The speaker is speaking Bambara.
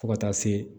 Fo ka taa se